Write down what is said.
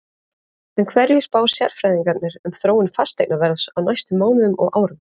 En hverju spá sérfræðingarnir um þróun fasteignaverðs á næstu mánuðum og árum?